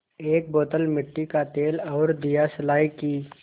एक बोतल मिट्टी का तेल और दियासलाई की